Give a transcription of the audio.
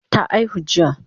Ta aihu jiya?